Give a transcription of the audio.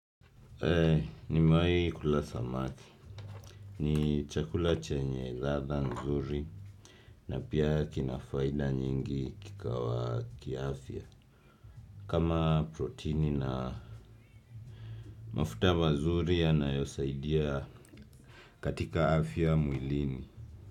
Nimewaii kula samaki. Ni chakula chenye ladha nzuri na pia kina faida nyingi kikawa kiafya. Kama proteini na mafuta mazuri yanayosaidia katika afya mwilini.